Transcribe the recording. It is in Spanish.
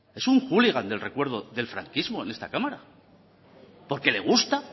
es un hooligan del recuerdo del franquismo en esta cámara porque le gusta